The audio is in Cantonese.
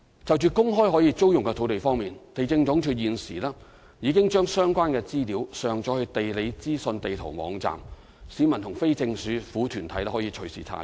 就在公開可租用的土地方面，地政總署現時已將相關資料上載至"地理資訊地圖"網站，市民及非政府團體可以隨時查閱。